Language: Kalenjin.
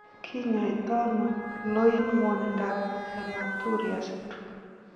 Kinyoitoono loin ng'wonindab hematuria syndrome?